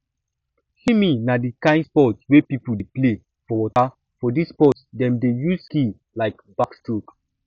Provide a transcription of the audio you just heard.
swimming na di kind sport wey pipo dey play for water for this sport dem dey use skill like backstroke